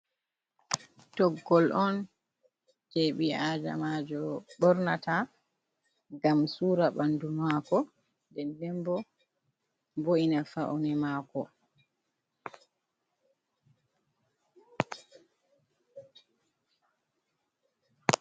Toggol on je ɓi'adamajo ɓornata ngam sura ɓandu mako den den bo bo’ina faune mako.